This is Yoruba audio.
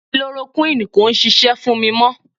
Kilorokuini kò ń ṣisẹ́ fún mi mọ.